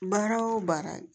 Baara o baara